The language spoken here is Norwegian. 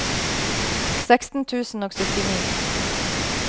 seksten tusen og syttini